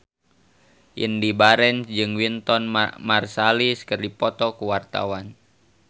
Indy Barens jeung Wynton Marsalis keur dipoto ku wartawan